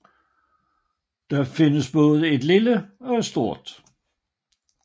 Der findes både et lille og et stort